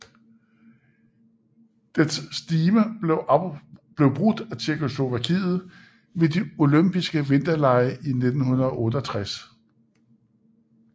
Dets stime blev brudt af Tjekkoslovakiet ved de Olympiske Vinterlege i 1968